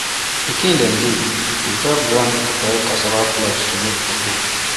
pikin dem dey dey help grind dry cassava flakes to take make fufu